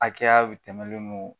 Hakɛyaw tɛmɛlen don